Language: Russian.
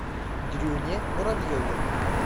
дрюне муравьеве